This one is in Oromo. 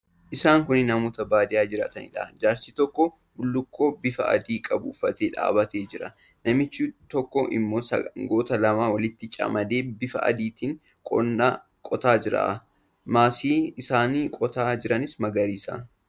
Isaan kun namoota baadiyyaa jiraataniidha. Jaarsi tokko bullukkoo bifa adii qabu uffatee dhaabbatee jira. Namichi tokko immoo sangoota lama walitti camadee bifa aadtiin qonna qotaa jira. Maasii isaan qotaa jiran magariisadha.